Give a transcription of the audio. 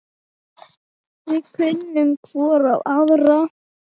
Við kunnum hvor á aðra.